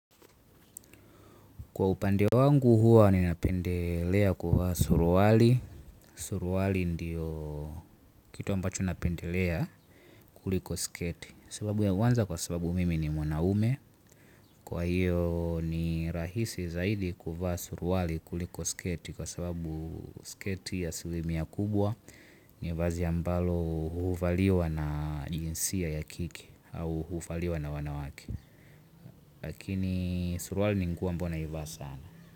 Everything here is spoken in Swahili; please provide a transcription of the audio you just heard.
Kwa upande wangu huwa ninapendelea kuvaa suruali. Suruali ndiyo kitu ambacho napendelea kuliko sketi. Sababu ya kwanza kwa sababu mimi ni mwanaume. Kwa hiyo ni rahisi zaidi kuvaa suruali kuliko sketi kwa sababu sketi asilimia kubwa. Ni vazi ambalo huvaliwa na jinsia ya kike au huvaliwa na wanawake. Lakini suruali ni nguo ambao naivaa sana.